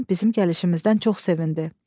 Səlimə xanım bizim gəlişimizdən çox sevindi.